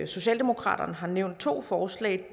socialdemokratiet har nævnt to forslag